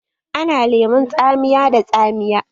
Ana lemon tsamiya da tsamiya.